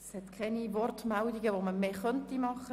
Es sind keine Wortmeldungen mehr möglich.